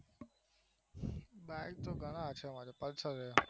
bike તો ગણાય છે pulsar છે